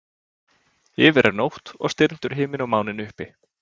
Yfir er nótt og stirndur himinn og máninn uppi.